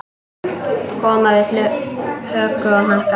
Koma við höku og hnakka.